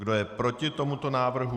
Kdo je proti tomuto návrhu?